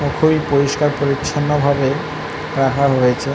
খুই পরিষ্কার পরিচ্ছন্ন ভাবে রাখা হয়েছে।